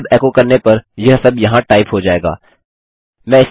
अब यह strip tag function इस एचटीएमएल और इस बॉडी से छुटकारा दिलाएगा